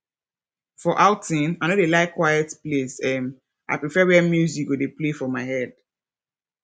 for outting i no dey like quiet place um i prefer where music go dey play for my head